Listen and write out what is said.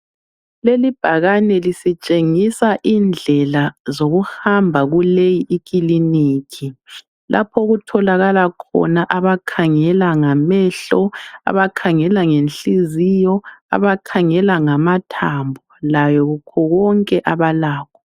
Leli ibhakani lisitshengisa indlela zokuhamba kuleyi ikiliniki lapho okutholakala khona abakhangela ngamehlo abakhangela ngenhliziyo abakhangela ngamathambo lakho konke abalakho